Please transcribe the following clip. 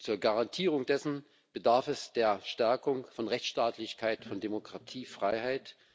Zur Garantierung dessen bedarf es der Stärkung von Rechtsstaatlichkeit, Demokratie und Freiheit.